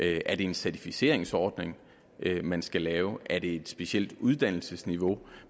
er det en certificeringsordning man skal lave er det et specielt uddannelsesniveau